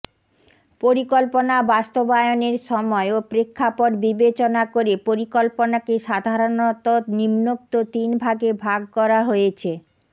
পরিকল্পনা বাস্তবায়নের সময় ও প্রেক্ষাপট বিবেচনা করে পরিকল্পনাকে সাধারনত নিম্নোক্ত তিনভাগে ভাগ করা হয়েছেঃ